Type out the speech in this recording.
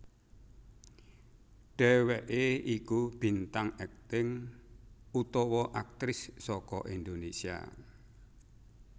Dheweké iku bintang akting utawa aktris saka Indonésia